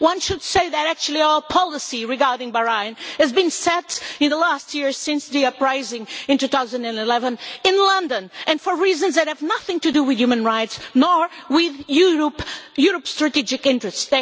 One should say that actually our policy regarding Bahrain has been set in the last year since the uprising into 2011 in London and for reasons that have nothing to do with human rights, nor with Europe's strategic interests.